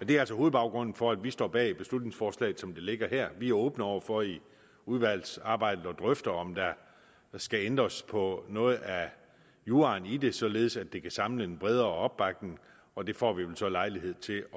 det er altså hovedbaggrunden for at vi står bag beslutningsforslaget som det ligger her vi er åbne over for i udvalgsarbejdet at drøfte om der skal ændres på noget af juraen i det således at det kan samle en bredere opbakning og det får vi vel så lejlighed til